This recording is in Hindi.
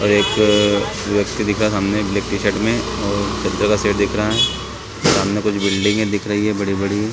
और एक व्यक्ति दिख रहा हैं सामने ब्लैक टी शर्ट में और सब जगह से दिख रहा है सामने कुछ बिल्डिंगे दिख रही हैं बड़ी-बड़ी--